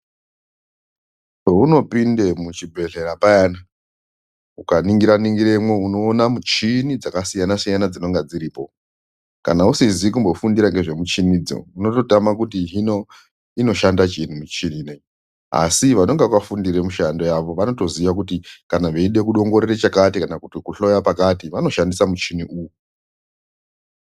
Pounopinde muchibhedleya payana, ukaningira ningiremwo unoone michini dzakasiyana siyana dzinonga dziripo. Kana usizi kumbofundira ngezvemichinidzo, unototama kuti hino inoshanda chiini mishini ineyi, asi vanenge vakafundire mishando yavo vanotoziya kuti kana veide kudongorera chakati kana kuhloya pakati vanoshandisa muchini uwu.